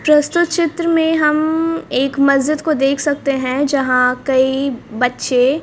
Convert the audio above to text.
प्रस्तुत चित्र में हम एक मस्जिद को देख सकते हैं यहां कई बच्चे--